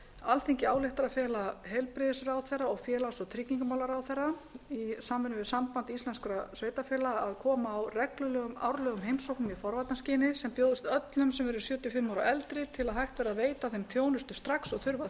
alþingi ályktar að fela heilbrigðisráðherra og félags og tryggingamálaráðherra í samvinnu við samband íslenskra sveitarfélaga að koma á reglulegum árlegum heimsóknum í forvarnaskyni sem bjóðist öllum sem eru sjötíu og fimm ára og eldri til að hægt verði að veita þeim þjónustu strax og þurfa